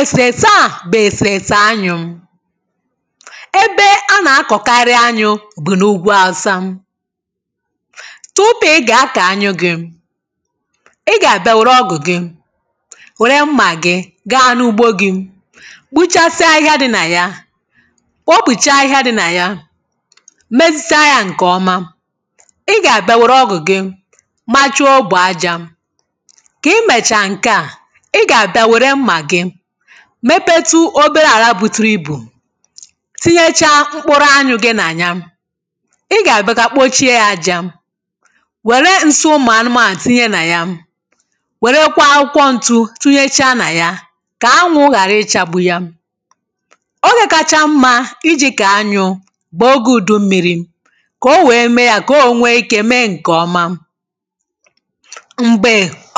èsèèsè a bụ̀ èsèèsè anyụ̇.ebe a nà-akọ̀karị anyụ̇ bụ̀ n’ugwu awusa tupu ị gà-akọ̀ anyụ gị̇. ị gà-àbịa wère ọgụ̀ gị wère mmà gị̇ gaa n’ugbo gị̇ kpuchasia ahịhịa dị nà ya kpopùcha ahịhịa dị nà ya mezicha yȧ ǹkèọma ị gà-àbịa wère ọgụ̀ gị machuo ogbè ajȧ kà i mèchàa ǹke à ị gà-àbịa wère mmà gị mepetu obere àra bụtụrụ ibù tinyechaa mkpụrụ anyụ gị nà ya ị gà-àbịa kà kpochie ya aja wère ǹsị ụmụ̀ anụmanụ tínyé nà ya wèrekwa akwụkwọ ǹtụ̇ tunyechaa nà ya kà anwụ̇ ghàra ichȧgbu ya. ogè kacha mmȧ iji̇ kà anyụ̇ bụ̀ oge ùdummiri kà o wèe mee ya kà o ònweike mee ǹkè ọma m̀gbè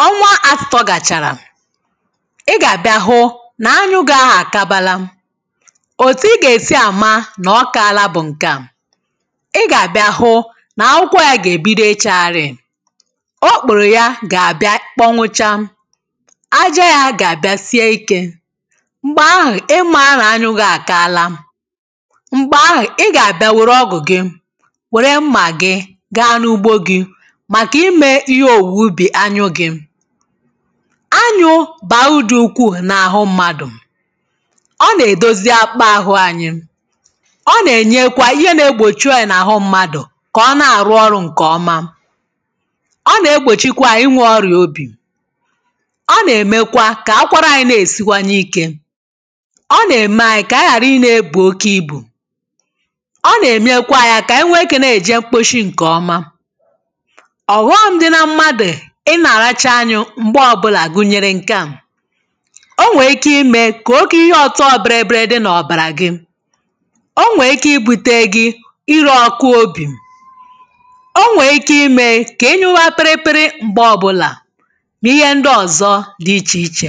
ọnwa atụtọ gàchàrà ị gà-àbịa hụ nà anyụ gị̇ ahụ àkabala òtù ị gà-èsi àma nà ọka àla bụ̀ ǹkè a ị gà-àbịa hụ nà akwụkwọ ya gà-èbido ichagharị̀ o kporo ya gà-àbịa ịkpọnwụcha àjȧ ya gà-àbịa sie ikė m̀gbè ahụ̀ ịmȧ na-anyụ gị̇ àkala m̀gbè ahụ̀ ị gà-àbịa wère ọgụ̀ gị wère mmà gị gaa n’ugbo gị̇ màkà imė ihe òwùwè ubì anyụ gị̇.anyu bàudu ukwuù n’àhụ mmadụ̀ ọ nà-èdozia kpa ahụ anyị̇ ọ nà-ènyekwa ihe na-egbòchi ọyà n’àhụ mmadụ̀ kà ọ na-àrụ ọrụ̇ ǹkè ọma, ọ nà-egbòchikwa ịnwė ọrịà obì ọ nà-èmekwa kà akwara anyị̇ na-èsikwanye ikė ọ nà-ème anyị̇ kà ànyị ghàra i nà-ebù oke ibù ọ nà-ème anyị̇ kà ànyị nwėėki̇ na-èje mkposhi ǹkè ọma. ọ̀ghọm dị na mmadù ịnàràcha anyụ̇ mgbe obula gụnyere nke a. o nwee ike ime ka oge ihe ọtọ ọbịrịbịrị dị n’ọbàrà gị o nwee ike ibu̇te gị ịrị ọkụ obì o nwee ike ime ka I nyụwa pịrịpịrị mgbe ọbụlà na ihe ndị ọ̀zọ dị ichè ichè